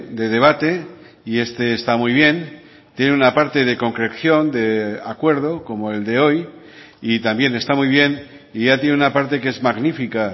de debate y este está muy bien tiene una parte de concreción de acuerdo como el de hoy y también está muy bien y ya tiene una parte que es magnífica